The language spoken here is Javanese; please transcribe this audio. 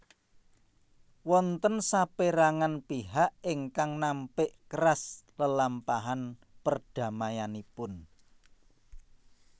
Wonten sapérangan pihak ingkang nampik keras lelampahan perdamaianipun